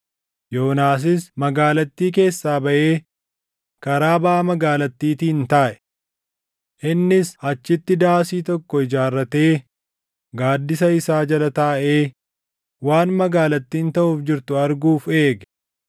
Yoonaasis magaalattii keessaa baʼee karaa baʼa magaalattiitiin taaʼe. Innis achitti daasii tokko ijaarratee gaaddisa isaa jala taaʼee waan magaalattiin taʼuuf jirtu arguuf eege.